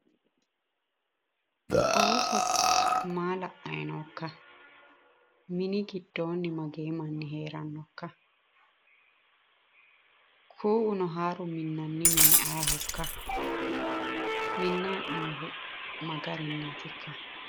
Ooso maa la"akayi nookka? mini giddoonni magee manni heerannokka? kuu"uno haaru mini minannihu ayeehokka? minnayi hee'noyiihu magarinniitikka?